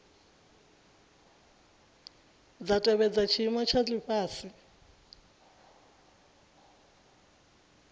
dza tevhedza tshiimo tsha lifhasi